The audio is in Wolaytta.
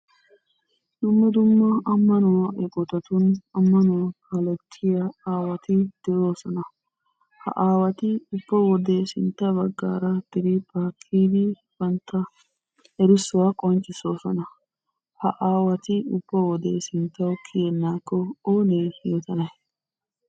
Dumma dumma ammanuwaa eqqotatun ammanuwaa kalettiyaa aawati de"oosona. Ha asati ubba wode sintta baggaara eeqqidi ubbatoo erissuwaa qonccisoosona. Ha aawati ubba wode sinttawu kiyyenaakko oonee yootanay?